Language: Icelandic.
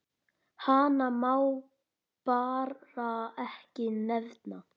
Hana má bara ekki nefna.